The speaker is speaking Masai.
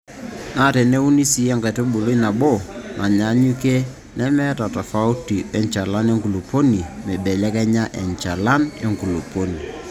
Naa teneuni sii enkaitubului nabo naanyaanyuk nemeeta tofauti enchalan enkulupuoni meibelekenya enchalan enkulupuoni.